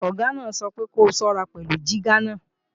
Ọ̀gá náà sọ wípé ko ṣọ́ra pẹ̀lú jígà náà!